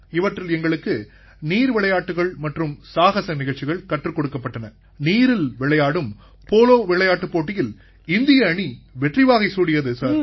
இவற்றில் எங்களுக்கு நீர் விளையாட்டுக்கள் மற்றும் சாகஸ நிகழ்ச்சிகள் கற்றுக் கொடுக்கப்பட்டன நீரில் விளையாடும் போலோ விளையாட்டுப் போட்டியில் இந்திய அணி வெற்றிவாகை சூடியது சார்